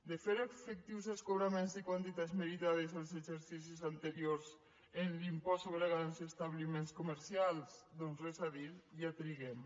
de fer efectius els cobraments i quantitats meritades als exercicis anteriors en l’impost sobre grans establiments comercials doncs res a dir ja triguem